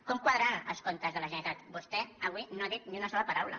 com quadraran els comptes de la generalitat vostè avui no n’ha dit ni una sola paraula